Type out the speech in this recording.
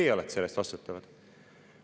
Teie olete selle eest vastutavad.